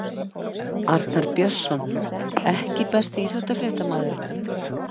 Arnar BJörnsson EKKI besti íþróttafréttamaðurinn?